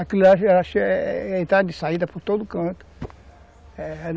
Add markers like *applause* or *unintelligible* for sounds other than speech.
Aquilo *unintelligible* era era a entrada e saída por todo canto.